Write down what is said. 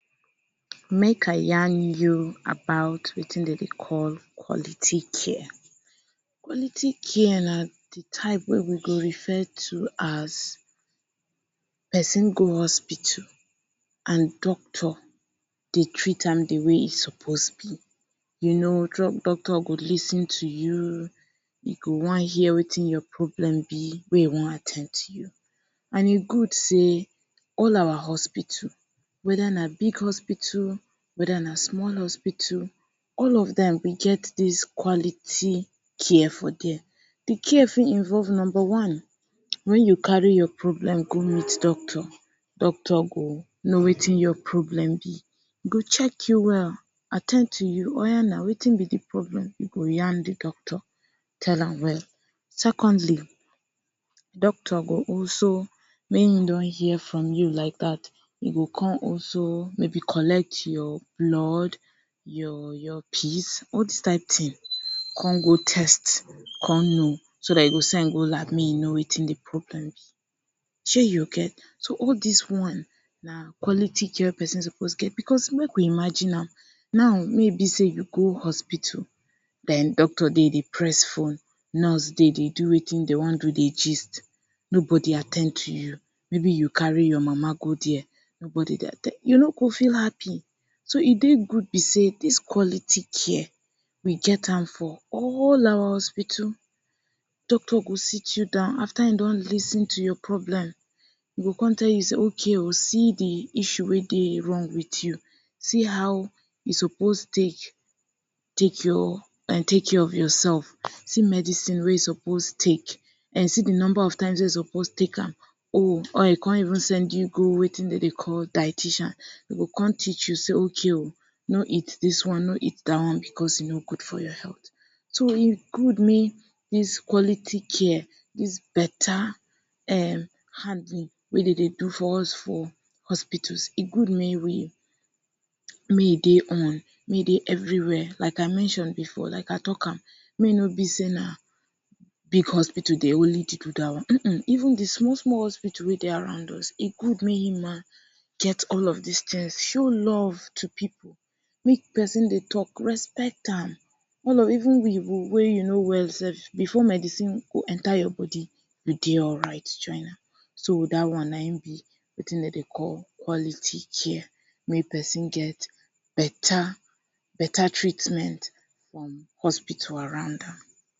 Make I yan you about wetin dem dey call quality care. Quality care na de type wey dey refer to as person go hospital, doctor go treat am de way e suppose be. You know some doctors go lis ten to you, dey go wan hear wetin your problem be wey e wan at ten d to and e good sey all of our hospital whether na big hospital or na small hospital, all of dem go get this quality care for there. De care fit involve; Number one: when you carry your problem go meet doctor, doctor go know wetin your problem be. E go check you well, at ten d to you; oya now wetin be de problem? You go yan de doctor tell am well. Secondly, doctor go also when he don hear from you like dat, he go come also maybe collect your blood, your your piss. All dis kind ting come go test, come know so dat e go send go lab make he know wetin de problem be. Say you get so all dis one na quality care wey person suppose get because make we imagine am now, you wey be sey you go hospital den doctor dey dey press phone, nurse dey dey do wetin dem wan do dey gist, nobody dey at ten d to you even maybe you carry your mama go there, nobody dey at ten d to you, you no go feel happy. So e dey wey be sey dis quality care, we get am for all our hospital. Doctor go sit you down after him don lis ten to your problem, he go come tell you say, okay um, see de issue wey dey wrong with you, see how e suppose take take your and care of yoursef, see medicine wey you suppose take and see de number of times wey you suppose take am. Or e come even send you go wetin dem dey call dieticians, he go come teach you sey okay oh, no eat dis one, no eat dat one because he no good for your health. so e good make dis quality care dis beta um handling wey dem dey do for us for hospital, e good make e dey on, make e dey everywhere. like I mention before, like I talk am make e no be sey na big hospital dey only treat you dat way[ um], even de small small hospital wey dey around us, e good make all of dis tings show love to pipu. wen person dey talk, respect am even you, wen you no well sef, before medicine go enter your body, you dey alright so dat one na him be wetin dem dey call quality care wey person get beta beta treatment from hospital around am.